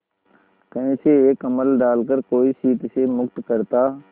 कहीं से एक कंबल डालकर कोई शीत से मुक्त करता